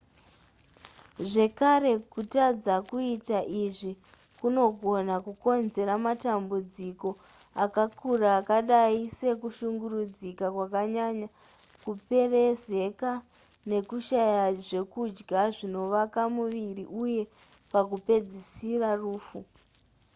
zvekare kutadza kuita izvi kunogona kukonzera matambudziko akakura akadai sekushungurudzika kwakanyanya kuperezeka nekushaya zvekudya zvinovaka muviri uye pakupedzisira rufu